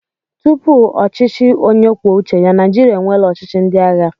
Tupu ọchịchị onye kwuo uche ya, Naịjirịa enweela ọchịchị ndị agha.